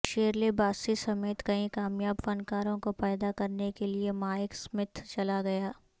Shirley Bassey سمیت کئی کامیاب فنکاروں کو پیدا کرنے کے لئے مائیک سمتھ چلا گیا